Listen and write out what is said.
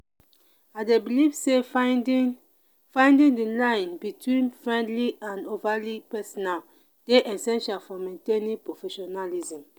i dey believe say finding finding the line between friendly and overly personal dey essential for maintaining professionalism.